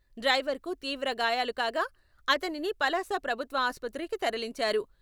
డ్రైవర్కు తీవ్ర గాయాలు కాగా..అతనిని పలాస ప్రభుత్వ ఆసుపత్రికి తరలించారు.